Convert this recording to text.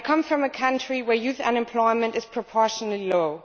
I come from a country where youth unemployment is proportionately low.